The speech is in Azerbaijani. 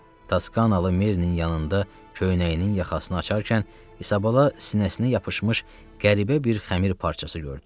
Taskanalı Merinin yanında köynəyinin yaxasını açarkən İsabala sinəsinə yapışmış qəribə bir xəmir parçası gördü.